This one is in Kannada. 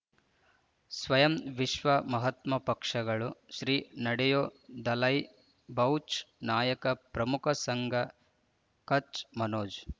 ಸ್ವಯಂ ವಿಶ್ವ ಮಹಾತ್ಮ ಪಕ್ಷಗಳು ಶ್ರೀ ನಡೆಯೂ ದಲೈ ಬೌಚ್ ನಾಯಕ ಪ್ರಮುಖ ಸಂಘ ಕಚ್ ಮನೋಜ್